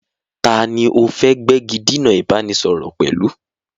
Taàní o fẹ́ gbégidinà ìbánisọọ̀rọ̀ pẹ̀lú?